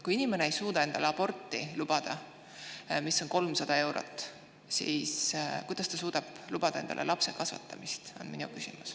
Kui inimene ei suuda endale lubada aborti, mis maksab 300 eurot, siis kuidas ta suudab lapse kasvatamisega seotud kulusid?